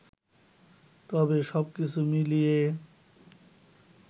তবে, সবকিছু মিলিয়ে